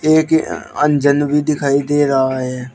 एक अंजन भी दिखाई दे रहा है।